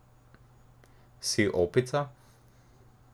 Si opica?